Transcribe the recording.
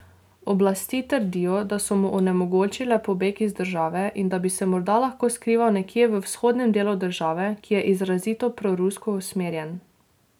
Oblasti trdijo, da so mu onemogočile pobeg iz države in da bi se morda lahko skrival nekje v vzhodnem delu države, ki je izrazito prorusko usmerjen.